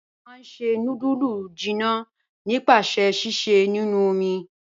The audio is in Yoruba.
A máá n ṣẹ̀ nùdúlù jìnnà nípasẹ̀ síṣẹ̀ nínu omi."